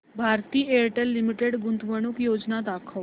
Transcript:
Bharti Airtel limited गुंतवणूक योजना दाखव